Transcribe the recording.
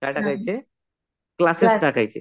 काय टाकायचे? क्लासेस टाकायचे.